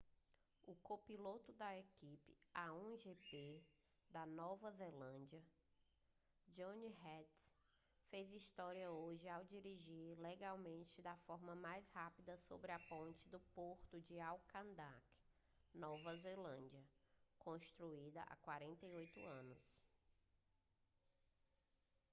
o copiloto da equipe a1gp da nova zelândia jonny reid fez história hoje ao dirigir legalmente da forma mais rápida sobre a ponte do porto de auckland nova zelândia construída há 48 anos